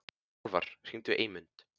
Álfar, hringdu í Eymund.